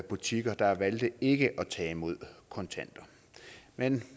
butikker der valgte ikke at tage imod kontanter men